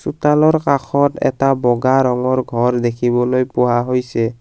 চোতালৰ কাষত এটা বগা ৰঙৰ ঘৰ দেখিবলৈ পোৱা হৈছে।